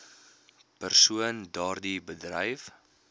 persoon daardie bedryf